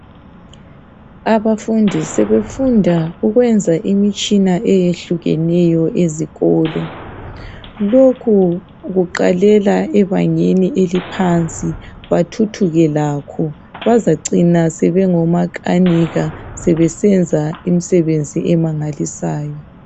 Abafundi sebefunda ukwenza imitshina eyehlukeneyo esikolo. Lokhu kuqalela ebangeni eliphansi bathuthuke lakho bazacina sebengomakanika sebesenza imisebenzi emangalisayo.